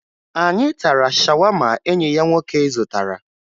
Anyị tara shawama enyi ya nwoke zụtara